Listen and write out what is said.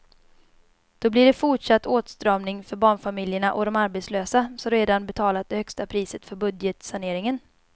Då blir det fortsatt åtstramning för barnfamiljerna och de arbetslösa som redan betalat det högsta priset för budgetsaneringen.